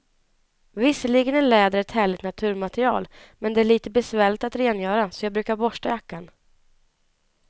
Visserligen är läder ett härligt naturmaterial, men det är lite besvärligt att rengöra, så jag brukar borsta jackan.